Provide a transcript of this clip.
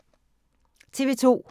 TV 2